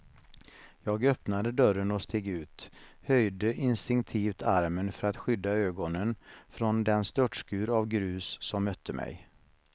Jag öppnade dörren och steg ut, höjde instinktivt armen för att skydda ögonen från den störtskur av grus som mötte mig.